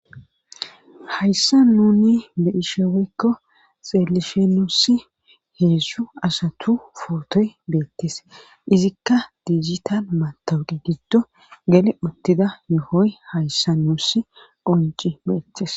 Hayssa nuni be'ishe woykko xeelishe nussi heedzdzu asatu Puutoy beettes izikka dijital maatawuqi giddo gele uttida yohoy hayssan nuuss qoncidi beettes